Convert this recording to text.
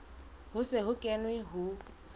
ho se ho kenwe ho